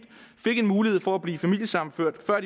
fik en mulighed for at blive familiesammenført før